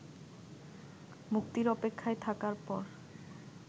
মুক্তির অপেক্ষায় থাকার পর